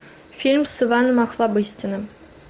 фильм с иваном охлобыстиным